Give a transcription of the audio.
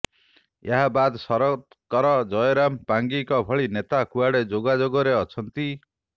ଏହା ବାଦ୍ ଶରତ କର ଜୟରାମ ପାଙ୍ଗିଙ୍କ ଭଳି ନେତା କୁଆଡ଼େ ଯୋଗାଯୋଗରେ ଅଛନ୍ତି